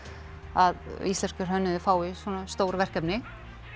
að íslenskur hönnuður fái svona stór verkefni